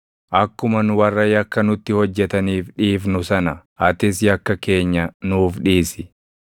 Akkuma nu warra yakka nutti hojjetaniif dhiifnu sana, atis yakka keenya nuuf dhiisi.